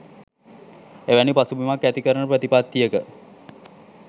එවැනි පසුබිමක් ඇති කරන ප්‍රතිපත්තියක